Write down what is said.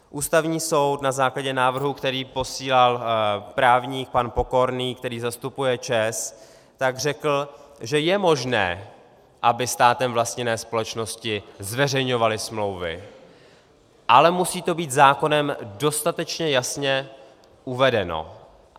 Ústavní soud na základě návrhu, který posílal právník pan Pokorný, který zastupuje ČEZ, řekl, že je možné, aby státem vlastněné společnosti zveřejňovaly smlouvy, ale musí to být zákonem dostatečně jasně uvedeno.